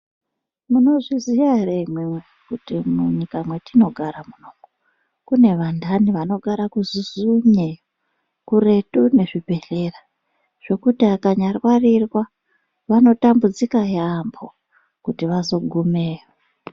Munozviziya ere imwimwi kuti munyika mwatinogara munomu kune vandani anogara kuzuzunye iyo kuretu nezvibhedhlera zvekuti akanyarwarirwa vanotambudzika yambo kuti vazogumeyo.